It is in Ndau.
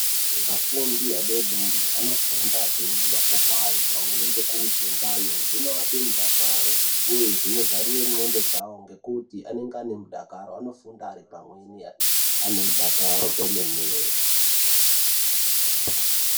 Afundi adodori anofunda achiona mapopai pamweni ngekuudzwe ngano zvinoape mudakaro uye zvinozarure ndxondo dzawo nekuti ane mudakaro anofunda ari pamweni aine mudakaro kwemene.